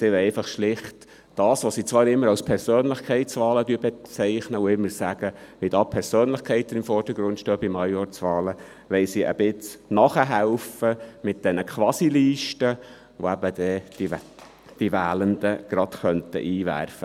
Bei dem, was sie immer als Persönlichkeitswahlen bezeichnen, indem sie sagen, bei Majorzwahlen stünden die Persönlichkeiten im Vordergrund, wollen sie mit diesen Quasi-Listen, die von den Wählenden gleich eingeworfen werden könnten, schlichtweg ein Stück weit nachhelfen.